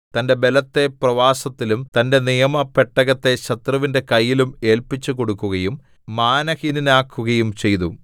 തന്റെ ബലത്തെ പ്രവാസത്തിലും തന്റെ നിയമ പെട്ടകത്തെ ശത്രുവിന്റെ കയ്യിലും ഏല്പിച്ചുകൊടുക്കുകയും മാനഹീനനാക്കുകയും ചെയ്തു